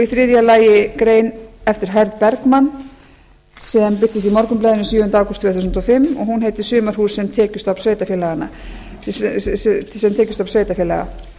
þriðja lagi grein eftir hörð bergmann sem birtist í morgunblaðinu sjöunda ágúst tvö þúsund og fimm og hún heitir sumarhús sem tekjustofn sveitarfélaga